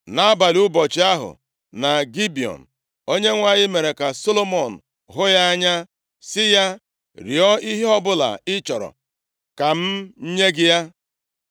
Nʼabalị ụbọchị ahụ na Gibiọn, Onyenwe anyị mere ka Solomọn hụ ya anya, sị ya, “Rịọọ ihe ọbụla ị chọrọ ka m nye gị.”